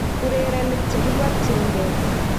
urerenik chekiborchinge